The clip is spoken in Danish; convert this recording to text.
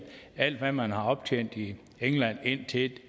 alt hvad man har optjent i england indtil